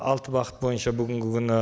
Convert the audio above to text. алты бағыт бойынша бүгінгі күні